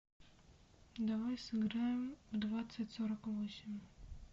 давай сыграем в двадцать сорок восемь